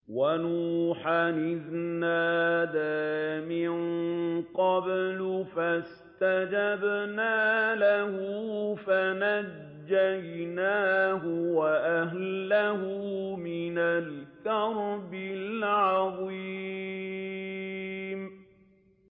وَنُوحًا إِذْ نَادَىٰ مِن قَبْلُ فَاسْتَجَبْنَا لَهُ فَنَجَّيْنَاهُ وَأَهْلَهُ مِنَ الْكَرْبِ الْعَظِيمِ